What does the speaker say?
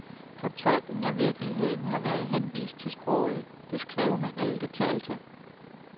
Fortolkning af virkeligheden har været henvist til sproget, det skrevne eller det talte.